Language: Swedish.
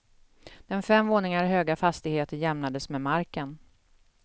Den fem våningar höga fastigheten jämnades med marken.